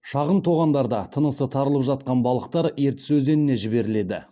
шағын тоғандарда тынысы тарылып жатқан балықтар ертіс өзеніне жіберіледі